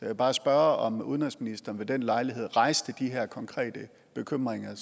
vil bare spørge om udenrigsministeren ved den lejlighed rejste de her konkrete bekymringer